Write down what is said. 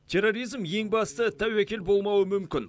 терроризм ең басты тәуекел болмауы мүмкін